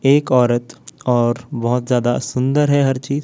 एक औरत और बहोत ज्यादा सुंदर है हर चीज--